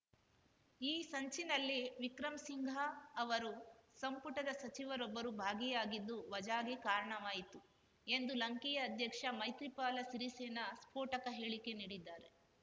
ಈ ಸಂಚಿನಲ್ಲಿ ವಿಕ್ರಮ್ ಸಿಂಘ ಅವರು ಸಂಪುಟದ ಸಚಿವರೊಬ್ಬರು ಭಾಗಿಯಾಗಿದ್ದು ವಜಾಗೆ ಕಾರಣವಾಯಿತು ಎಂದು ಲಂಕೆಯ ಅಧ್ಯಕ್ಷ ಮೈತ್ರಿಪಾಲ ಸಿರಿಸೇನ ಸ್ಫೋಟಕ ಹೇಳಿಕೆ ನೀಡಿದ್ದಾರೆ